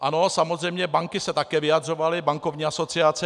Ano, samozřejmě banky se také vyjadřovaly, bankovní asociace.